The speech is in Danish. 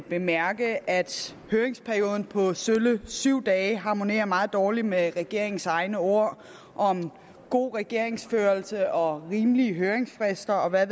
bemærke at høringsperioden på sølle syv dage harmonerer meget dårligt med regeringens egne ord om god regeringsførelse og rimelige høringsfrister og hvad